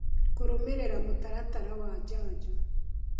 Kũrũmĩrĩra mũtaratara wa njanjo